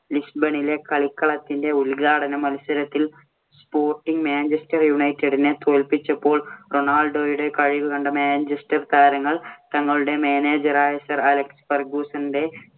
ലിസ്ബണിലെ കളിക്കളത്തിന്‍റെ ഉദ്ഘാടന മത്സരത്തിൽ sporting മാഞ്ചെസ്റ്റർ യുണൈറ്റഡിനെ തോല്പിച്ചപ്പോൾ റൊണാൾഡോയുടെ കഴിവ് കണ്ട മാഞ്ചെസ്റ്റർ താരങ്ങൾ തങ്ങളുടെ manager ആയ സർ അലക്സ് ഫെർഗ്ഗുസ്സന്‍റെ